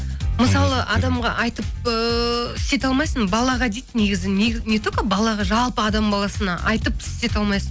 мысалы адамға айтып ыыы істете алмайсың балаға дейді негізі не только балаға жалпы адам баласына айтып істете алмайсың